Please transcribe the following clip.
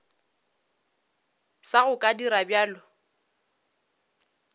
sa go ka dira bjalo